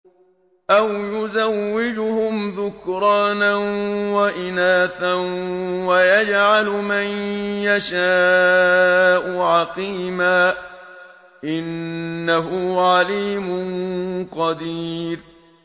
أَوْ يُزَوِّجُهُمْ ذُكْرَانًا وَإِنَاثًا ۖ وَيَجْعَلُ مَن يَشَاءُ عَقِيمًا ۚ إِنَّهُ عَلِيمٌ قَدِيرٌ